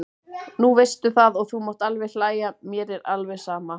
Nú veistu það og þú mátt alveg hlæja, mér er alveg sama.